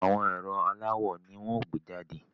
Àwọn ẹ̀rọ aláwò ni wọ́n ó gbé jàde